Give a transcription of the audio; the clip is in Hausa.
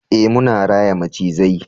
eh muna raya macizai